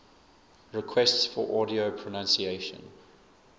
requests for audio pronunciation